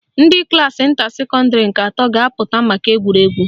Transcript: Ndị klaasị nta secondary nke atọ ga-apụta maka egwuregwu